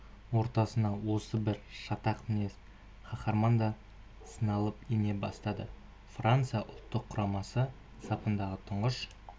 ортасына осы бір шатақ мінез қаһарман да сыналап ене бастады франция ұлттық құрамасы сапындағы тұңғыш